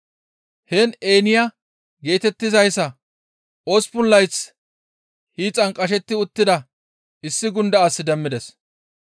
Heen Eeniya geetettizayssa osppun layth hiixan qashetti uttida issi gunda as demmides.